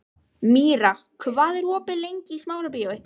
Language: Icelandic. Míra, hvað er opið lengi í Smárabíói?